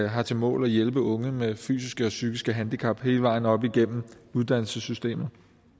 har til mål at hjælpe unge med fysiske og psykiske handicap hele vejen op igennem uddannelsessystemet